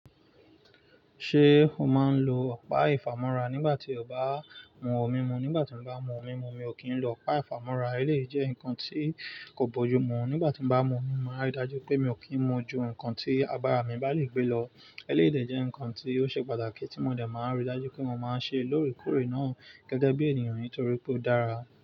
Ṣé o máa ń lo ọ̀pá ìfàmọ́ra nígbà tí o bá mu ọmúmú? Nígbà tí mo bá mu ọmúmú, mi ò kí ń lo ọ̀pá ìfàmọ́ra. Élé jẹ́ nǹkan tí kò bójú mú. Nígbà tí mo bá mu ọmimú, màá rí i dájú pé mi ò kí n mu ju nǹkan tí abara mi bá lè gbé lọ. Élé de jẹ́ ǹkan tí ó ṣe pàtàkì tí mo dẹ̀ máa ń ríi dájú pé mo máa ń ṣe lórekoórè náà gẹ́gẹ́ bí ènìyàn nítorí pé ó dára.